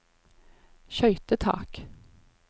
skøytetak